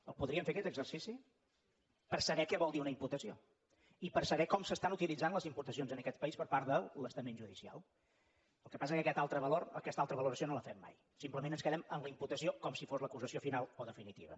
el podríem fer aquest exercici per saber què vol dir una imputació i per saber com s’estan utilitzant les imputacions en aquest país per part de l’estament judicial el que passa que aquesta altra valoració no la fem mai simplement ens quedem en la imputació com si fos l’acusació final i definitiva